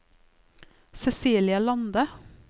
Cecilie Lande